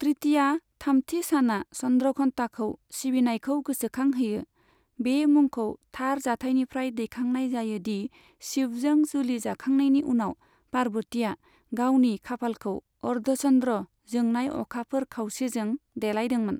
तृतीया, थामथि सानआ चन्द्रघन्टाखौ सिबिनायखौ गोसोखांहोयो, बे मुंखौ थार जाथायनिफ्राय दैखांनाय जायो दि शिवजों जुलि जाखांनायनि उनाव, पार्वतीआ गावनि खाफालखौ अर्धचन्द्र, जोंनाय अखाफोर खावसेजों देलायदोंमोन।